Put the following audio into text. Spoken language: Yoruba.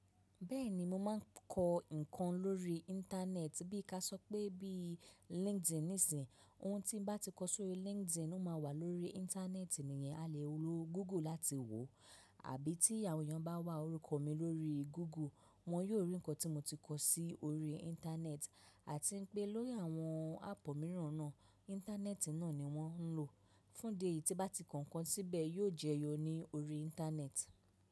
Bẹ́ẹ̀ni, mo máa ń kọ nǹkan lórí Íńtánẹ́ẹ̀tì bí kà sọ pé bí LinkedIn nísìnyi. Ohun tí n bá ti kọ sórí LinkedIn, ó máa wà lórí Íńtánẹ́ẹ̀tì nìyẹn, a lè lo Google láti wò ó, àbí tí àwọn èèyàn bá wá orúkọ mi lórí Google, wọ́n yó rí nǹkan tí mo ti kọ sí orí Íńtánẹ́ẹ̀tì. A ti ń pé lórí àwọn áàpù míràn náà, Íńtánẹ́ẹ̀tì náà ni wọ́n ń lò. Fún dẹ́ ì tí bá ti kọ ǹkan síbẹ̀ yó jẹyọ ní orí Íńtánẹ́ẹ̀tì.